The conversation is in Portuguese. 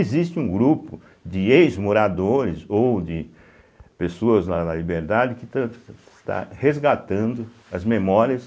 Existe um grupo de ex-moradores ou de pessoas lá da Liberdade que tâ estão resgatando as memórias